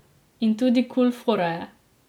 In tudi kul fora je.